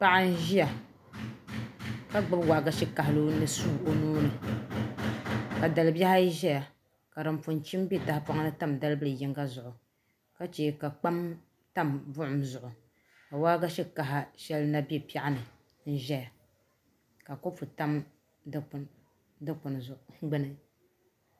Paɣa n ʒiya ka gbubi waagashe kahali ni suu o nuuni ka dalibihi ayi ʒɛya ka din pun chim bɛ tahapoŋni tam dalibili yinga zuɣu ka chɛ ka kpam tam buɣum zuɣu ka waagashe kaha shɛli na bɛ piɛɣu ni n ʒɛya ka kopu tam dikpuni gbuni